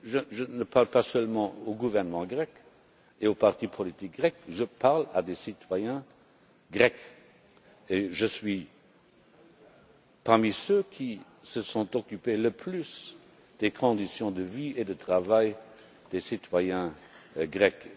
Je ne parle pas seulement au gouvernement grec et aux partis politiques grecs, je parle à des citoyens grecs et je suis parmi ceux qui se sont le plus occupés des conditions de vie et de travail des citoyens de Grèce.